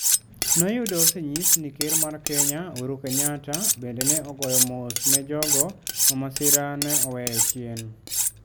Noyudo osenyis ni ker mar Kenya, Uhuru Kenyatta, bende ne ogoyo mos ne jogo ma masira ne oweyo chien: